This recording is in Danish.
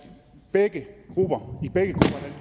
begge grupper